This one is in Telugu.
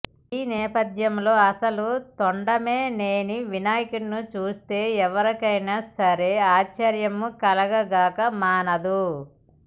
ఈ నేపథ్యంలో అసలు తొండమేలేని వినాయకుడిని చూస్తే ఎవరికైనా సరే ఆశ్చర్యంకలగక మానదు